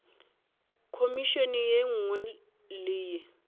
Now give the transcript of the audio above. khomišene ye nngwe le ye